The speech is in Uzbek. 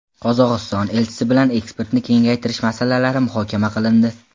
Qozog‘iston elchisi bilan eksportni kengaytirish masalalari muhokama qilindi.